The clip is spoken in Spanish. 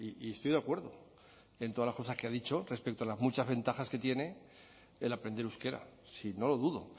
y estoy de acuerdo en todas las cosas que ha dicho respecto a las muchas ventajas que tiene el aprender euskera si no lo dudo